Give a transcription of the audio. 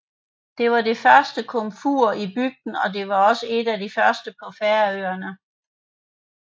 Det var det første komfur i bygden og også et af de første på Færøerne